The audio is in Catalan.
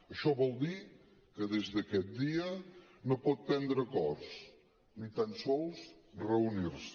això vol dir que des d’aquest dia no pot prendre acords ni tant sols reunir se